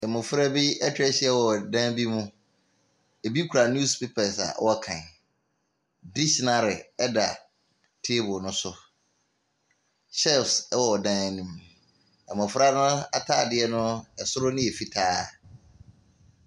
Mmofra bi atwa ahyia wɔ dan bi mu. Ebi kura news papers a wɔrekan. Dictionary da table no so. Shells wɔ dan no mu. Mmofra no ataade no, ɛsoro no yɛ fitaa.